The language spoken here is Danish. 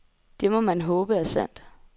Det må man håbe er sandt.